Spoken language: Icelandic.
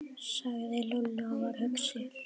sagði Lúlli og var hugsi.